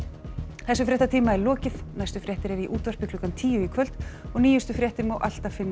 þessum fréttatíma er lokið næstu fréttir eru í útvarpi klukkan tíu í kvöld og nýjustu fréttir má alltaf finna